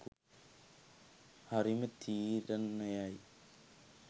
හරිම් තීරණයයි